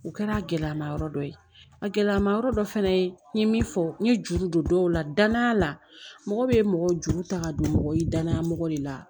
U kɛra a gɛlɛyama yɔrɔ dɔ ye a gɛlɛma yɔrɔ dɔ fɛnɛ ye n ye min fɔ n ye juru don dɔw la danaya la mɔgɔ bɛ mɔgɔ juru ta ka don mɔgɔ ye danaya mɔgɔ de la